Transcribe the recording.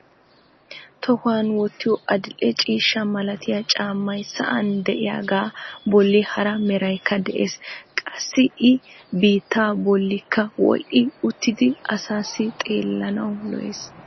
tohuwan wottiyo adil'e ciishsha malattiya caammay sa'an diyagaa bolli hara meraykka de'ees. qassi i biittaa bolki wodhdhi uttidi asaassi xeellanawu lo"es.